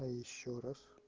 а ещё раз